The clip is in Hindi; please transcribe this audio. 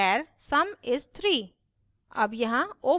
static var sum is 3